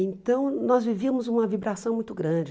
Então, nós vivíamos uma vibração muito grande.